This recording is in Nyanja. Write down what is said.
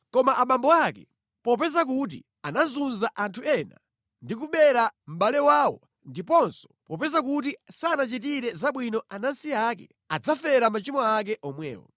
Koma abambo ake, popeza kuti anazunza anthu ena ndi kubera mʼbale wawo ndiponso popeza kuti sanachitire zabwino anansi ake, adzafera machimo ake omwe.